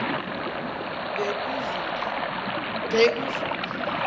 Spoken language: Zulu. bekuzulu